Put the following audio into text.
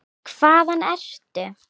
Hvaðan ertu?